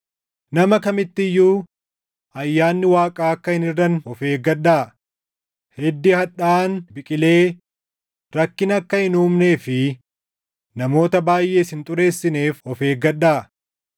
Nama kamitti iyyuu ayyaanni Waaqaa akka hin hirʼanne of eeggadhaa; hiddi hadhaaʼaan biqilee rakkina akka hin uumnee fi namoota baayʼees hin xureessineef of eeggadhaa.